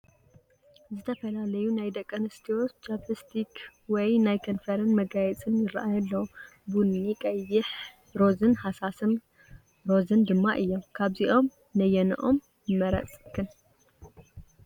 ዝተፈላለዩ ናይ ደቂ ኣንስትዮ ጃኘስቲክ ወይ ናይ ከንፈረን መጋየፂ ይራኣዩ ኣለው፡፡ ቡኒ፣ ቀይሕ፣ ሮዝን ሃሳስ ሮዝን ድማ እዮም፡፡ ካብዚኦም ነየነኦም ንመረፅክን?